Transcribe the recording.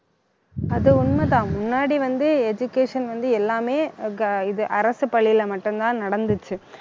அது உண்மைதான் முன்னாடி வந்து, education வந்து எல்லாமே ஆஹ் go~ இது அரசு பள்ளியிலே மட்டும்தான் நடந்துச்சு